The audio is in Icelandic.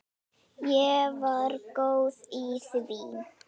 Ég var góð í því.